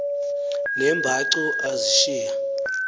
ne mbacu azishiya